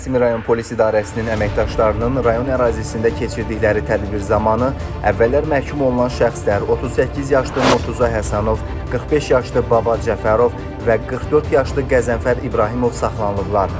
Nəsimi rayon polis idarəsinin əməkdaşlarının rayon ərazisində keçirdikləri tədbir zamanı əvvəllər məhkum olunan şəxslər, 38 yaşlı Murtuza Həsənov, 45 yaşlı Baba Cəfərov və 44 yaşlı Qəzənfər İbrahimov saxlanılıblar.